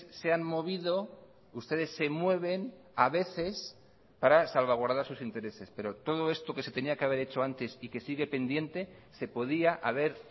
se han movido ustedes se mueven a veces para salvaguardar sus intereses pero todo esto que se tenía que haber hecho antes y que sigue pendiente se podía haber